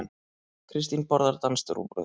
Kristín borðar danskt rúgbrauð.